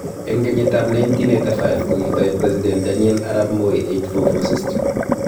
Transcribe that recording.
Eng kenyitab 1985 kokitoi President Daniel Arap Moi 8-4-4 system